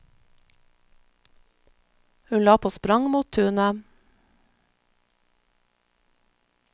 Hun la på sprang mot tunet.